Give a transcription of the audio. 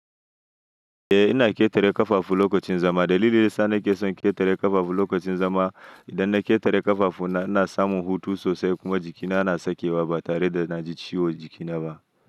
Eh ina ƙetare ƙafafu lokacin zama. Dalilin sa ni ke son ƙetare ƙafafu lokacin zama idan na ƙetare ƙafafu na, ina samun hutu sosai kuma jikina ana sakewa ba tare da na ji ciwo jikinaba.